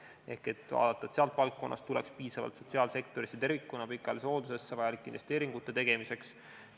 Ehk tuleb vaadata, et sealt valdkonnast tuleks piisavalt sotsiaalsektorisse tervikuna ja pikaajalisse hooldusesse vajalike investeeringute tegemiseks.